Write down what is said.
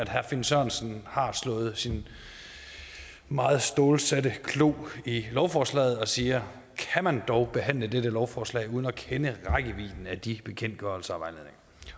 herre finn sørensen slår sin meget stålsatte klo i lovforslaget og siger kan man dog behandle dette lovforslag uden at kende rækkevidden af de bekendtgørelser